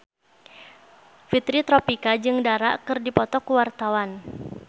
Fitri Tropika jeung Dara keur dipoto ku wartawan